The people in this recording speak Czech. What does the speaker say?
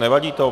Nevadí to?